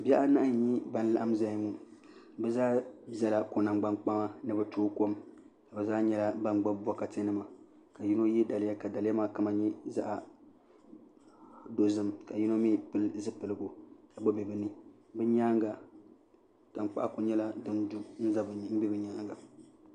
Bihi anahi n nyɛ ban laɣam ʒɛya ŋo bi zaa ʒɛla ko nangbani kpaŋa ni bi tooi kom bi zaa nyɛla ban gbubi bokati nima ka yino yɛ daliya ka daliya maa kama nyɛ zaɣ dozim ka yino mii pili zipiligu n bɛ bi ni bi nyaanga tankpaɣu ku nyɛla din du n do bi nyaanga